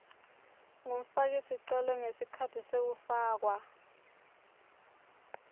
ngumfakisicelo ngesikhatsi sekufakwa